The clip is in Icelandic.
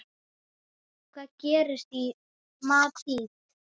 Hvað gerist í Madríd?